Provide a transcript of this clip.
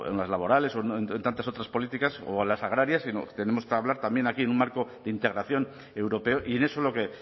laborales o en tantas otras políticas o las agrarias sino que tenemos que hablar también aquí en un marco de integración europeo y en eso es en lo que